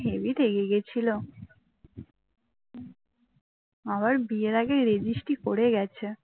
আবার বিয়ের আগে registry করে গেছে